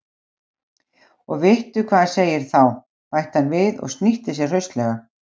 Og vittu hvað hann segir þá! bætti hann við og snýtti sér hraustlega.